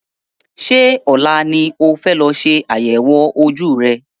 Ṣé ọ̀la ni o fẹ́ lọ ṣe àyẹ̀wò ojú rẹ?